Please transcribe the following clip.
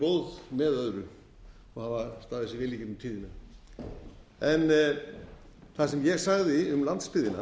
góð með öðru og hafa staðið sig vel í gegnum tíðina það sem ég sagði um landsbyggðina